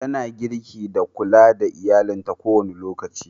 Tana girki da kulla da iyallinta ko da wane lokaci.